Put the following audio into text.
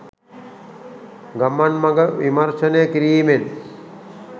ගමන් මඟ විමර්ශනය කිරීමෙන්